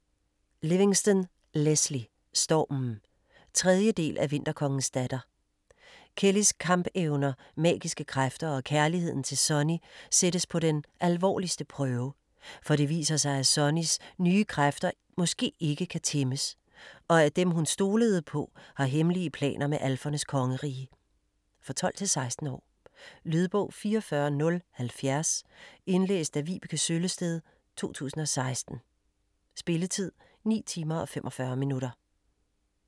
Livingston, Lesley: Stormen 3. del af Vinterkongens datter. Kelleys kampevner, magiske kræfter og kærligheden til Sonny sættes på den alvorligste prøve. For det viser sig at Sonnys nye kræfter måske ikke kan tæmmes, og at dem hun stolede på, har hemmelige planer med alfernes kongerige. For 12-16 år. Lydbog 44070 Indlæst af Vibeke Søllested, 2016. Spilletid: 9 timer, 45 minutter.